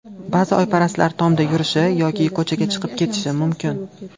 Ba’zi oyparastlar tomda yurishi yoki ko‘chaga chiqib ketishi mumkin.